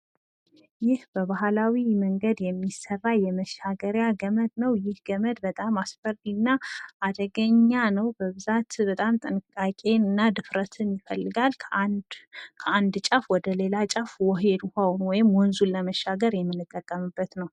ይህ በባህላዊ መንገድ የተሰራ የመሻገሪያ ገመድ ነው። ይህ ገመድ በጣም አስፈሪ እና አደገኛ ነው። ድፍረትና ጥንቃቄ ይፈልጋል። ከአንድ ጫፍ ወደ ሌላ ጫፍ ውሃውን ወይም ደግሞ ወንዙን ለመሻገር የምንጠቀምበት ነው።